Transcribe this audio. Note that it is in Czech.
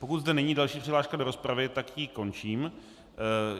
Pokud zde není další přihláška do rozpravy, tak ji končím.